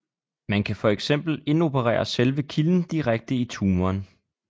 Man kan for eksempel indoperere selve kilden direkte i tumoren